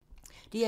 DR2